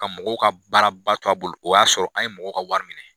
Ka mɔgɔw ka baaraba to a bolo, o y'a sɔrɔ an ye mɔgɔw ka wari minɛ.